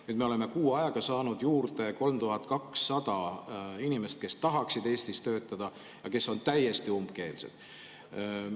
Nüüd me oleme kuu ajaga saanud juurde 3200 inimest, kes tahaksid Eestis töötada, aga kes on täiesti umbkeelsed.